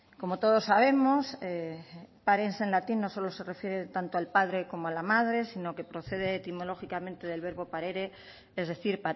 como todos sabemos parens en latín no solo se refiere tanto al padre como a la madre sino que procede etimológicamente del verbo parere es decir